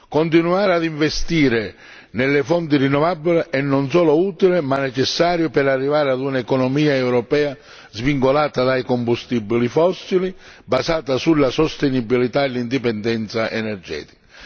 Continuare ad investire nelle fonti rinnovabili è non solo utile ma necessario per arrivare ad un'economia europea svincolata dai combustibili fossili, basata sulla sostenibilità e l'indipendenza energetica.